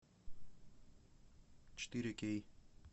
четыре кей